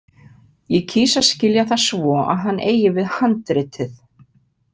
Ég kýs að skilja það svo að hann eigi við handritið.